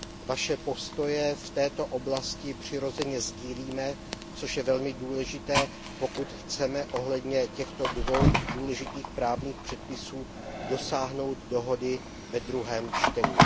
Vaše postoje v této oblasti přirozeně sdílíme, což je velmi důležité, pokud chceme ohledně těchto dvou důležitých právních předpisů dosáhnout dohody ve druhém čtení.